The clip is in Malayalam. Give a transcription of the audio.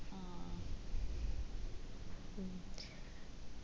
ആ